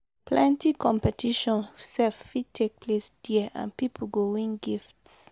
plenti competition sef fit take place dia and pipo go win gifts